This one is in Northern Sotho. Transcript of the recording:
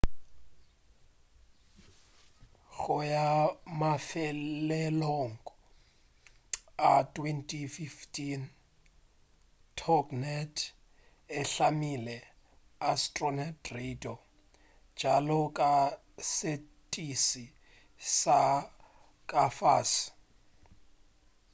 go ya mafelelong a 2015 toginet e hlamile astronet radio bjalo ka setiši sa ka fase